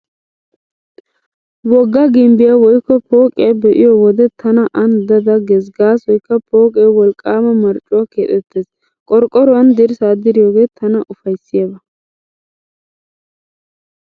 Wogga gimbbiyaa woykko pooqiyaa be'iyo wode tana aani da da gees gaasoykka pooqe wolqqaama marccuwaa keexettees. Qorqqoruwaan dirssaa diriyoogee tana ufayssiyaaba.